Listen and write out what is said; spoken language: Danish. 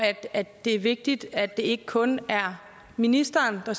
at det er vigtigt at det ikke kun er ministeren og